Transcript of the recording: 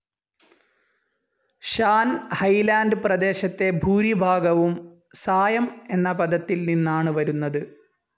Shaan highland പ്രദേശത്തിൻ്റെ ഭൂരിഭാഗവും സായം എന്ന പദത്തിൽ നിന്നാണ് വരുന്നത്.